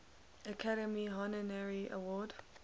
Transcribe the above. academy honorary award